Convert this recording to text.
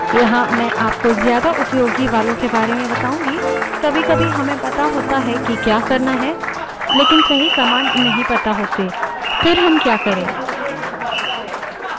यहाँ मैं आपको ज्यादा उपयोगी वालों के बारे में बताऊँगी कभीकभी हमें पता होता है जो हम करना चाहते हैं लेकिन सही command नहीं पता होती तब हम क्या करे